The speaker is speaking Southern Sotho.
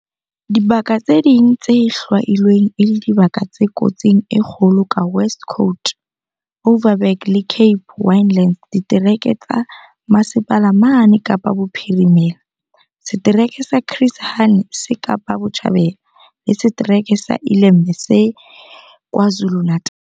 Dibaka tse ding tse hlwailweng e le dibaka tse kotsing e kgolo ke West Coast, Overberg le Cape Winelands ditereke tsa Mmasepala mane Kapa Bophirimela, setereke sa Chris Hani se Kapa Botjhabela, le setereke sa iLembe se KwaZulu-Natala.